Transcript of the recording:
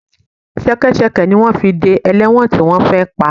Ṣẹkẹ́ṣẹkẹ̀ ni wọ́n fi dé ẹlẹ́wọ̀n tí wọ́n fẹ́ pa